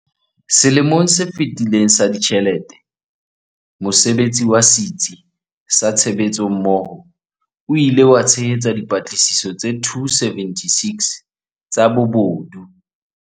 Selemong se fetileng sa ditjhelete, mosebetsi wa Setsi sa Tshebetsommoho o ile wa tshehetsa dipatlisiso tse 276 tsa bobodu.